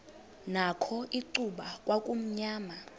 nakho icuba kwakumnyama